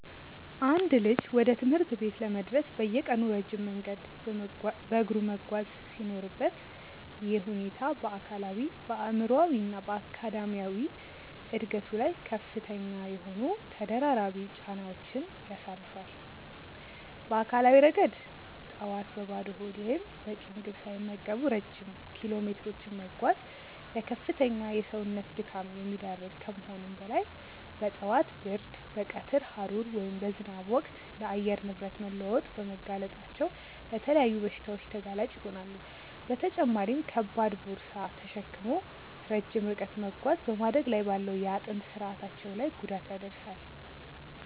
አንድ ልጅ ወደ ትምህርት ቤት ለመድረስ በየቀኑ ረጅም መንገድ በእግሩ መጓዝ ሲኖርበት፣ ይህ ሁኔታ በአካላዊ፣ በአእምሯዊ እና በአካዳሚያዊ ዕድገቱ ላይ ከፍተኛ የሆኑ ተደራራቢ ጫናዎችን ያሳርፋል። በአካላዊ ረገድ፣ ጠዋት በባዶ ሆድ ወይም በቂ ምግብ ሳይመገቡ ረጅም ኪሎሜትሮችን መጓዝ ለከፍተኛ የሰውነት ድካም የሚዳርግ ከመሆኑም በላይ፣ በጠዋት ብርድ፣ በቀትር ሐሩር ወይም በዝናብ ወቅት ለአየር ንብረት መለዋወጥ በመጋለጣቸው ለተለያዩ በሽታዎች ተጋላጭ ይሆናሉ፤ በተጨማሪም ከባድ ቦርሳ ተሸክሞ ረጅም ርቀት መጓዝ በማደግ ላይ ባለው የአጥንት ስርአታቸው ላይ ጉዳት ያደርሳል።